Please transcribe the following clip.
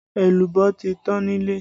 Èlùbọ́ ti tán nílé